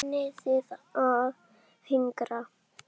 Nennið þið að hinkra?